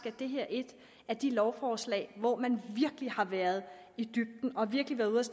at det her er et af de lovforslag hvor man virkelig har været i dybden og virkelig har været